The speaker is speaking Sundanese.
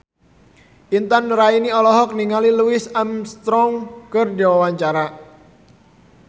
Intan Nuraini olohok ningali Louis Armstrong keur diwawancara